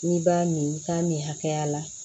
N'i b'a min k'a min hakɛya la